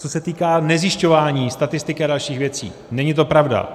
Co se týká nezjišťování statistiky a dalších věcí, není to pravda.